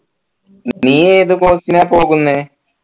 നീ ഏത് course നാ പോകുന്നെ